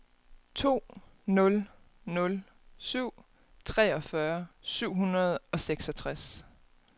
to nul nul syv treogfyrre syv hundrede og seksogtres